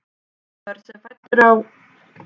Börn sem fædd eru á